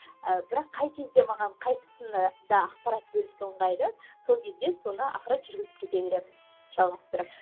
ыыы бірақ қай кезде маған қайсысында ақпарат бөлісу ыңғайлы сол кезде соны ақырын жүргізіп кете беремін жалғастырып